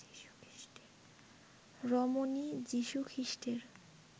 রমণী যীশুখ্রীষ্টের